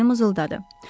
Şarni mızıldadı.